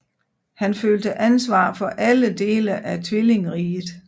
Han følte ansvar for alle dele af tvillingriget